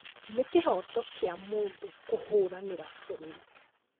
Nĩ kĩhoto kĩa mũndũ kũhũranĩra bũrũri